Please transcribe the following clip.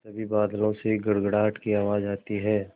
तभी बादलों से गड़गड़ाहट की आवाज़ आती है